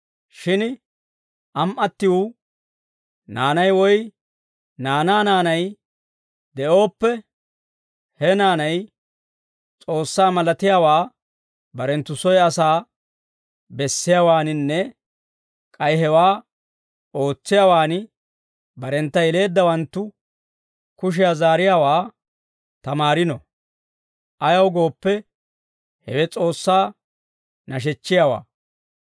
Shin am"attiw naanay woy naanaa naanay de'ooppe, he naanay S'oossaa malatiyaawaa barenttu soy asaa bessiyaawaaninne k'ay hewaa ootsiyaawaan barentta yeleeddawanttu kushiyaa zaariyaawaa tamaarino. Ayaw gooppe, hewe S'oossaa nashechchiyaawaa.